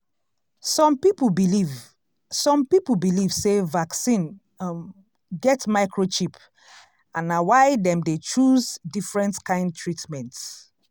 some people believe some people believe sey vaccine um get microchip and na why dem dey choose different kind treatment.